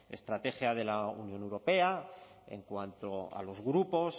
estrategia de la unión europea en cuanto a los grupos